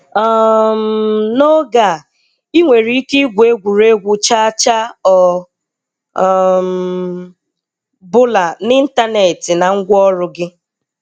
um N'oge a, ị nwere ike igwu egwuregwu cha cha ọ um bụla n'ịntanetị na ngwaọrụ gị.